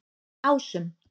Ásum